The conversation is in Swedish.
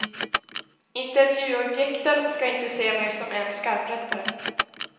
Intervjuobjekten skall inte se mig som en skarprättare.